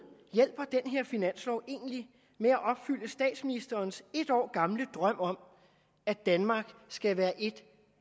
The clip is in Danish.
hjælper den her finanslov egentlig med at opfylde statsministerens et år gamle drøm om at danmark skal være et